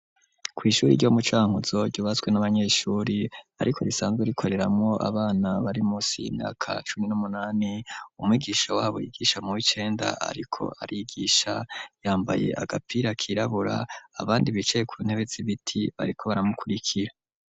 Kw'ishuri ryo mu cankutzo ryubatswe n'abanyeshuri ariko risanzwe rikoreramwo abana bari musi imyaka cuni n'umunani umigisha wabo yigisha mu w'icenda ariko arigisha yambaye agapira kirabura abandi bicaye ku ntebetsi biti bariko baramukurikira.